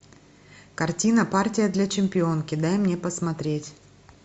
картина партия для чемпионки дай мне посмотреть